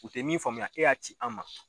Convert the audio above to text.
U tɛ min faamuya e y'a ci an ma.